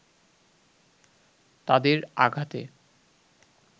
তাদের আঘাতে